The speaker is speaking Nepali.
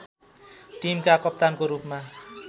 टिमका कप्तानको रूपमा